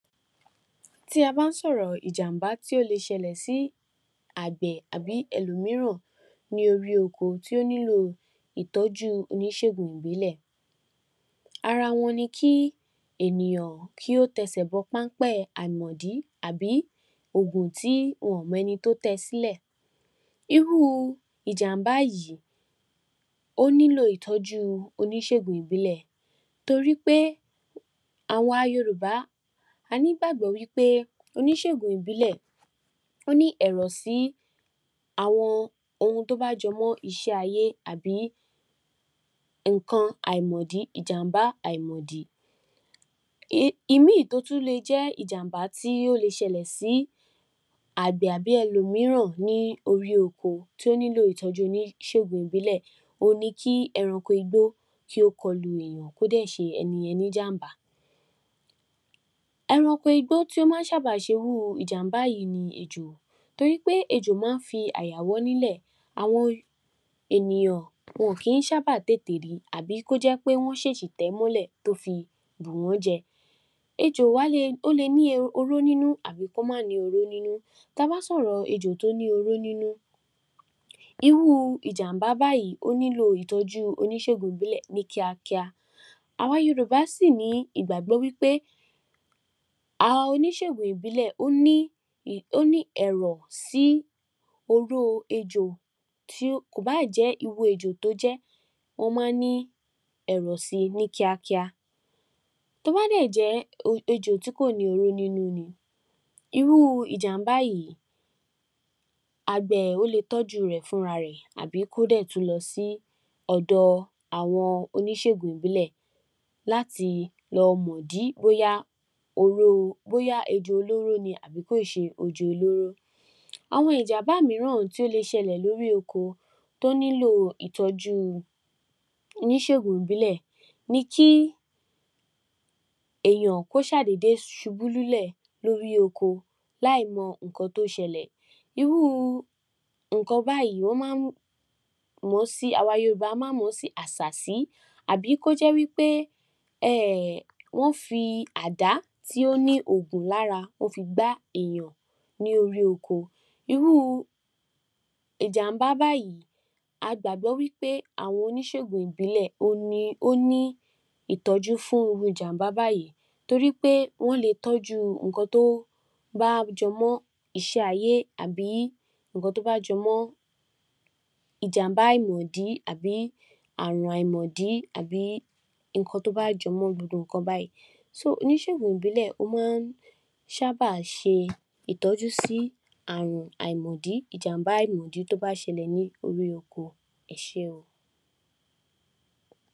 Tí a bá ń sọ̀rọ̀ ìjàmbá tí ó lè ṣẹlẹ̀ sí àgbẹ̀ àbí ẹlò míìràn ní orí oko tí ó nílò ìtọ́jú Oníṣègùn ìbílẹ̀, ara wọn ni kí ènìyàn kí ó tẹsẹ̀ bọ páḿpẹ́ àìmọ̀dí àbí oògùn tí wọn ò mọ ẹni tí ó tẹ sílẹ̀. Irú ìjàm̀bá yìí ó nílò ìtọ́jú oníṣègùn ìbílẹ̀ torí pé àwa Yorùbá, a ní ìgbàgbọ́ wí pé Oníṣègùn ìbílẹ̀ ó ní ẹ̀rọ̀ sí àwọn ohun tí ó bá jọmọ́ iṣẹ́ ayé àbí nǹkan àìmọ̀dí ìjàm̀bá àìmọ̀dí. Ìmí tí ó tún le jẹ́ ìjàm̀bá tí ó le ṣẹlẹ̀ sí Àgbẹ̀ àbí ẹlò míìràn ní orí oko tí ó nílò ìtọ́jú Oníṣègùn ìbílẹ̀ òhun ni kí ẹranko igbó kí ó kọlù èèyàn kí ó dẹ̀ ṣe ẹnìyẹn ní ìjàmbá. Ẹranko igbó tí ó máa ń sábà ṣe irú ìjàmbá yìí ni ejò, torí pé ejò máa ń fi àyà wọ́ nílẹ̀ àwọn ènìyàn wọn kì í sábà tètè ri àbí kí ó jẹ́ pé wọ́n ṣéṣị̀ tẹ̀ é mọ́lẹ̀ tí ó fi bù wọ́n jẹ. Ejò wá lè, ó lè ní oró nínú àbí kí ó má à ní oró nínú, tí a bá ń sọ̀rọ̀ ejò tí ó ní oró nínú, irú ìjàmbá bàyìí ó nílò ìtọ́jú Oníṣègùn ìbílẹ̀ ní kíákíá. Àwa Yorùbá sì ní ìgbàgbọ́ wí pé àwọn Oníṣègùn ìbílẹ̀ ní, ó ní ẹ̀rọ sí oró ejò tí kò bá jẹ́ irú ejò tí ó jẹ́ wọ́n máa ń ní ẹ̀rọ̀ si ní kíákíá. Tí ó bá dẹ̀ jẹ́ ejò tí kò ní oró nínú ní irú ìjàmbà yìí Àgbẹ̀ ó le tọ́jú rẹ̀ fúnra rẹ̀ àbí kí ó dẹ̀ tún lọ sí ọ̀dọ àwọn Oníṣègùn ìbílẹ̀ láti lọmọ̀ ìdí bóyá ejò olóró ni àbí kì í ṣe ejò olóró. Àwọn ìjàmbá mìíràn tí ó le ṣẹlẹ̀ lórí oko tí ó nílò ìtọ́jú Oníṣègùn ìbílẹ̀ ni kí èèyàn ṣà dédé ṣubú lulẹ̀ lórí oko láìmọ̀ nǹkan tí ó ṣẹlẹ̀. Irú nǹkan báyìì ó máa ń mọ̀ si awa Yorùbá máa ń mọ̀ ó sí àsàsí àbí kí ó jẹ́ wí pé wọ́n fí àdá tí ó ní òògùn lára wọ́n fí gbá èèyàn ní orí oko. Irú ìjàmbá báyìí a gbàgbọ́ pé Oníṣègùn ìbílẹ̀ ó ní ìtọ́jú fún irú ìjàmbá báyìí nítorí pé wọ́n le tọ́jú nǹkan tí ó bá jọmọ́ iṣẹ́ ayé àbí nǹkan tí ó bá jọ mọ́ ìjàmbá àìmọ̀dí àbí ́ ààrùn àìmọ̀dí àbí nǹkan tí ó bá jọmọ́ gbogbo nǹkan báyìí. So Oníṣègùn ìbílẹ̀ ó máa ń sábà ṣe ìtọ́jú sí ààrùn àìmọ̀dí, ìjàmbá àìmọ̀dí tí ó bá ṣẹlẹ̀ ní orí oko. Ẹ ṣé o.